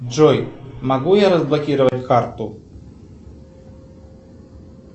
джой могу я разблокировать карту